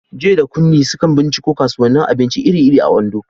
Joy da Kunmi sukan binciko kasuwannin abinci iri-iri a Ondo.